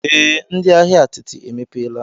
Ee, ndị ahịa atịtị emepeela